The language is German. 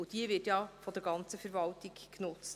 Und diese wird ja von der ganzen Verwaltung genutzt.